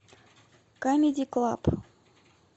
камеди клаб